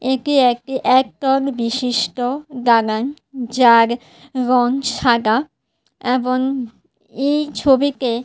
এটি একটি এক কাউন বিশিষ্ঠ দানা যার রঙ সাদা এবন এই ছবিতে--